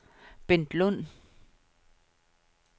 Bent Lund